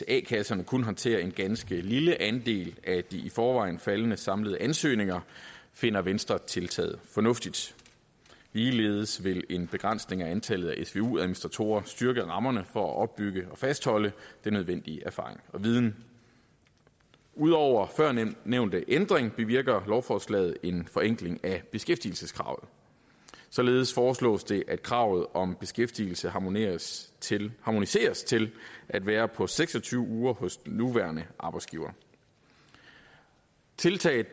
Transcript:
a kasserne kun håndterer en ganske lille andel af det i forvejen faldende antal samlede ansøgninger finder venstre tiltaget fornuftigt ligeledes vil en begrænsning af antallet af svu administratorer styrke rammerne for at opbygge og fastholde den nødvendige erfaring og viden ud over førnævnte ændring bevirker lovforslaget en forenkling af beskæftigelseskravet således foreslås det at kravet om beskæftigelse harmoniseres til harmoniseres til at være på seks og tyve uger hos den nuværende arbejdsgiver tiltaget